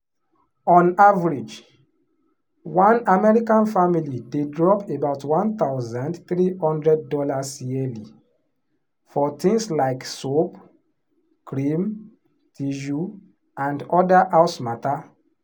on average one american family dey drop about one thousand three hundred dollars yearly for things like soap cream tissue and other house matter.